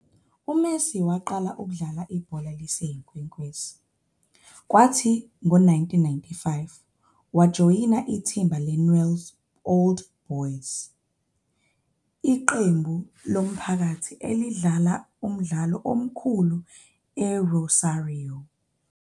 UMessi waqala ukudlala ibhola liseyinkwenkwezi, kwathi ngo-1995 wajoyina ithimba leNewell's Old Boys, iqembu lomphakathi elidlala umdlalo omkhulu eRosario.